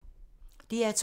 DR2